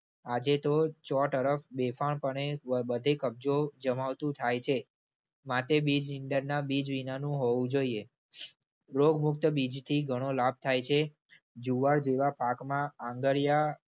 આજે તો ચો-તરફ બેફાનપણે બબધે કબજો જમાવતું થાય છે. માટે બીજ નીંદણના બીજ વિનાનું હોવું જોઈએ. રોગમુક્ત બીજથી ઘણો લાભ થાય છે. જુવાર જેવા પાકમાં આંગળીયા